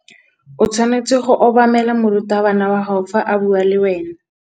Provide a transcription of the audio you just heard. O tshwanetse go obamela morutabana wa gago fa a bua le wena.